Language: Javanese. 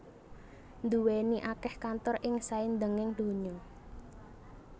nduwèni akèh kantor ing saindhenging donya